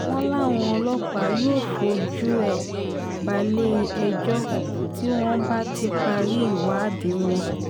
wọ́n láwọn ọlọ́pàá yóò fojú ẹ̀ balẹ̀-ẹjọ́ tí wọ́n bá ti parí ìwádìí wọn